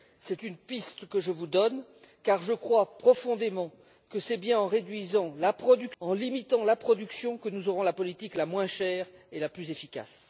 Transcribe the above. C'est une piste que je vous donne, car je crois profondément que c'est bien en réduisant et en limitant la production que nous aurons la politique la moins chère et la plus efficace.